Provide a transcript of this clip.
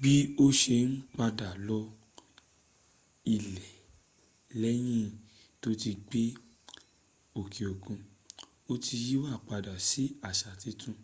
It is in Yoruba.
bi o se n pada lo ile leyin to ti gbe oke okun o ti yiwa pada si asa titun